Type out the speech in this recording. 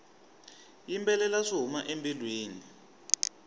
yimbelela swi huma embilwini